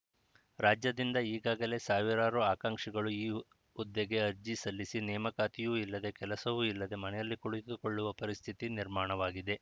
ರಾಜ್ಯದಿಂದ ಈಗಾಗಲೇ ಸಾವಿರಾರು ಆಕಾಂಕ್ಷಿಗಳು ಈ ಹುದ್ದೆಗೆ ಅರ್ಜಿ ಸಲ್ಲಿಸಿ ನೇಮಕಾತಿಯೂ ಇಲ್ಲದೆ ಕೆಲಸವೂ ಇಲ್ಲದೆ ಮನೆಯಲ್ಲಿ ಕುಳಿತುಕೊಳ್ಳುವ ಪರಿಸ್ಥಿತಿ ನಿರ್ಮಾಣವಾಗಿದೆ